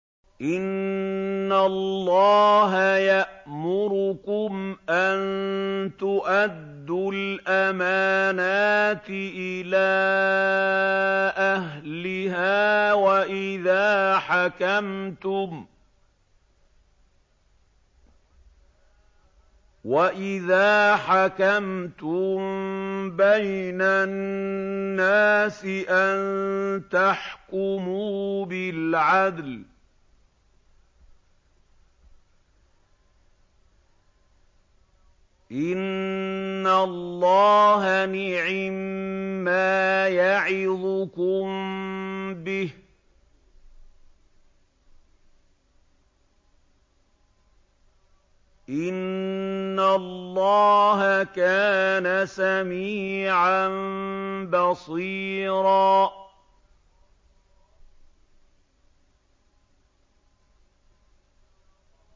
۞ إِنَّ اللَّهَ يَأْمُرُكُمْ أَن تُؤَدُّوا الْأَمَانَاتِ إِلَىٰ أَهْلِهَا وَإِذَا حَكَمْتُم بَيْنَ النَّاسِ أَن تَحْكُمُوا بِالْعَدْلِ ۚ إِنَّ اللَّهَ نِعِمَّا يَعِظُكُم بِهِ ۗ إِنَّ اللَّهَ كَانَ سَمِيعًا بَصِيرًا